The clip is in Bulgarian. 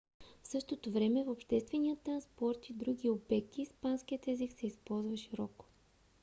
в същото време в обществения транспорт и други обекти испанският език се използва широко